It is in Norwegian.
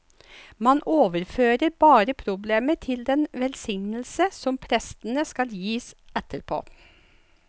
Man overfører bare problemet til den velsignelse som prestene skal gi etterpå.